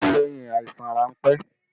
Ó kú lẹ́yìn àìsàn ránpẹ́